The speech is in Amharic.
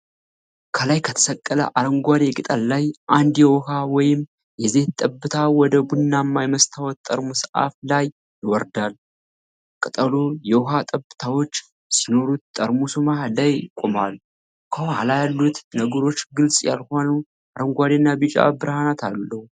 ከላይ ከተሰቀለ አረንጓዴ ቅጠል ላይ አንድ የውሃ ወይም የዘይት ጠብታ ወደ ቡናማ የመስታወት ጠርሙስ አፍ ላይ ይወርዳል። ቅጠሉ የውሃ ጠብታዎች ሲኖሩት ጠርሙሱ መሃል ላይ ቆሟል። ከኋላ ያሉት ነገሮች ግልጽ ያልሆኑ አረንጓዴና ቢጫ ብርሃናት አለው።